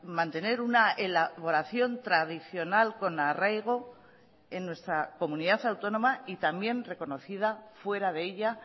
mantener una elaboración tradicional con arraigo en nuestra comunidad autónoma y también reconocida fuera de ella